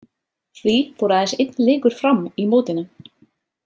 Því fór aðeins einn leikur fram í mótinu.